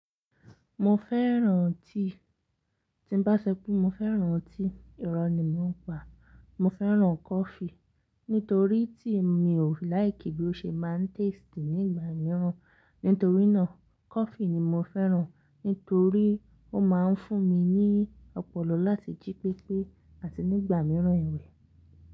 Mo fẹ́ràn tíi, tí ń bá ṣo pé mo fẹ́ràn tií, ìrọ̀ ni mo ń pa. Mo fẹ́ràn kọfí nítorí tíi mi ò láìkì bí ó ṣe máa ń taste nígbà míràn. Nítorínà kọfí ni mo fẹ́ràn, nítorí ó ma ń fún mi ní ọpọlọ láti jí pépé àti nígbà míràn ẹ̀wẹ.